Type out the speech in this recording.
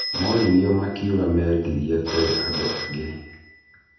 Moririo makiuga mendirie kũrĩ andũ angĩ